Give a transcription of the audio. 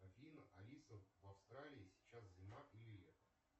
афина алиса в австралии сейчас зима или лето